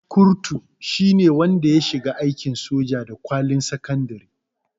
Kurutu shine wanda ya shiga aikin soja da kwalin sakandare